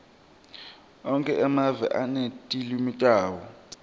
onkhe emave anetilwimi tawo